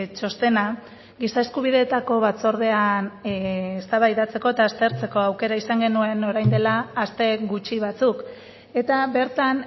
txostena giza eskubideetako batzordean eztabaidatzeko eta aztertzeko aukera izan genuen orain dela aste gutxi batzuk eta bertan